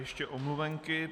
Ještě omluvenky.